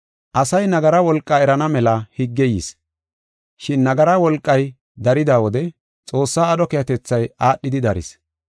Asay nagara wolqaa erana mela higgey yis, shin nagara wolqay darida wode Xoossaa aadho keehatethay aadhidi daris.